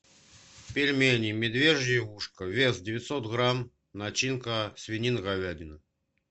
пельмени медвежье ушко вес девятьсот грамм начинка свинина говядина